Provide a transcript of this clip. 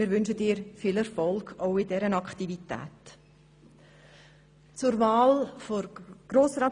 Wir wünschen dir auch in dieser Aktivität viel Erfolg.